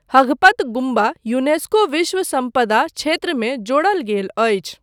हघपत गुम्बा युनेस्को विश्व सम्पदा क्षेत्रमे जोड़ल गेल अछि।